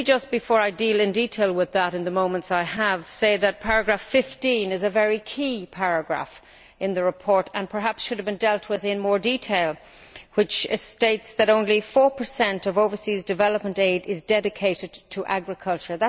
Before I deal in detail with that in the moments I have, let me just say that paragraph 15 is a very key paragraph in the report and perhaps should have been dealt with in more detail. It states that only four per cent of overseas development aid is dedicated to agriculture.